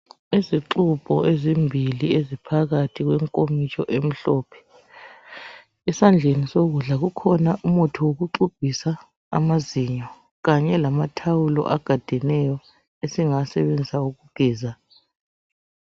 Izigxubho ezimbii eziphakathi kwenkomitsho emhlophe esandleni sokudla kukhona umuthi wokugxubhisa amazinyo kanye lamathawulo agadeneyo esingawasebenzisa ukugeza.